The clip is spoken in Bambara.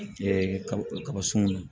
kaba sun ye